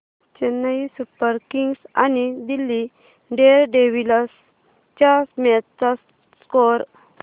Chennai Super Kings आणि Delhi Daredevils च्या match चा स्कोअर